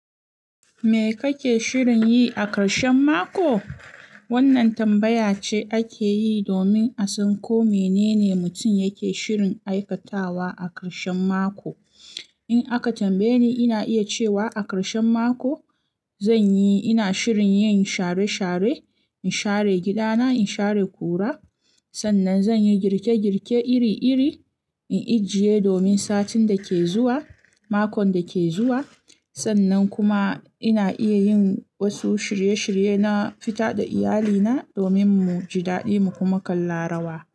Me kake shirin yi a karshen mako? Wannan tambaya ce ake yi domin a san ko menene mutum yake shirin aikatawa a karshen mako. In aka tambaye ni, ina iya cewa a karshen mako zan yi, ina shirin yin share share, in share gida na, in share kura. Sannan zan yi girke girke iri iri in ijiye domin satin da ke zuwa, makon da ke zuwa. Sannan kuma ina iya yin wasu shirye shirye na fita da iyalina domin mu ji daɗi mu kuma kalla rawa.